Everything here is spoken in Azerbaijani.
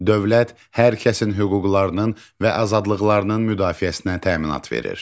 Dövlət hər kəsin hüquqlarının və azadlıqlarının müdafiəsinə təminat verir.